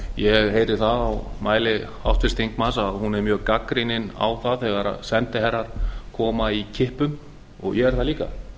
ég heyri það á mæli háttvirts þingmanns að hún er mjög gagnrýnin á það þegar sendiherrar koma í kippum ég er það líka